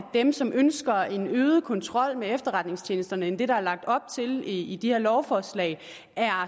dem som ønsker en øget kontrol med efterretningstjenesterne i det der er lagt op til i i de her lovforslag er